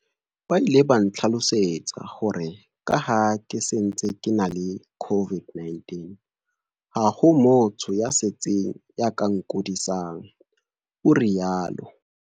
"Ba ile ba ntlhalosetsa hore ka ha ke se ntse ke ena le COVID-19, ha ho motho ya setsing ya ka nkudisang," o rialo.